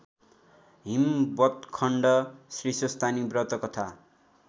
हिमवत्खण्ड श्रीस्वस्थानी व्रतकथा